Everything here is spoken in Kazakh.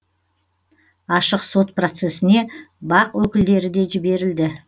ашық сот процесіне бақ өкілдері де жіберілді